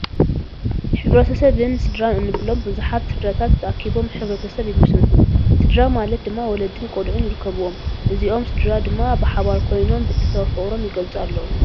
ሕብረተብን ስድራን እንብሎም ብዙሓት ስድራታት ተኣኪቦም ሕ/ሰብ ይምስርቱ፡፡ ስድራ ማለት ድማ ወለድን ቆልዑን ይርከብዎም፡፡ እዚኦም ስድራ ድማ ብሓባር ኮይኖም ቤተሰባዊ ፍቕሮም ይገልፁ ኣለው፡፡